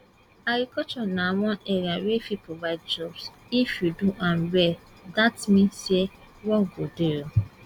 agriculture na one area wey fit provide jobs if you do am well dat mean say work go dey